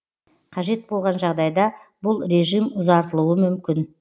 қажет болған жағдайда бұл режим ұзартылуы мүмкін